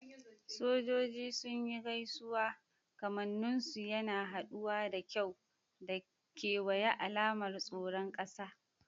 Sojoji sun yi gaisuwa, kamannin su yana haɗuwa da kyau da kewaye, alamar tsaron ƙasa.